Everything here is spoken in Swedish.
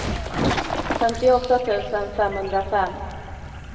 femtioåtta tusen femhundrafem